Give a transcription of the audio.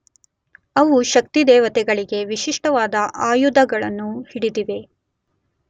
ಅವು ಶಕ್ತಿದೇವತೆಗಳಿಗೆ ವಿಶಿಷ್ಟವಾದ ಆಯುಧಗಳನ್ನು ಹಿಡಿದಿವೆ.